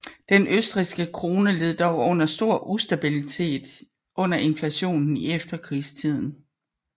Den østrigske krone led dog under stor ustabilitet under inflationen i efterkrigstiden